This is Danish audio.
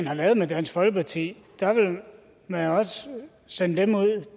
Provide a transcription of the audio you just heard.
har lavet med dansk folkeparti vil man også sende dem ud